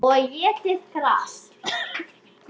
Og étið gras.